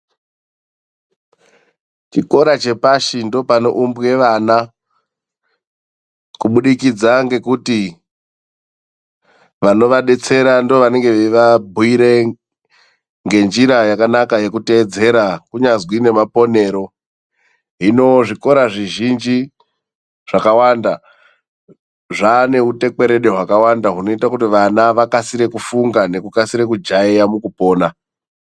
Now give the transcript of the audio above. Chikora chepashi ndoopanoumbwe vana, kubudikidza ngekuti vanovadetsera ndoovanenge veivabhuire ngenjira yakanaka yekuteedzera, kunyazwi nemaponero. Hino zvikora zvizhinji, zvakawanda zvaane utekwerede hwakawanda hunoite kuti vana vakasire kufunga, nekukasira kujaeya mukupona.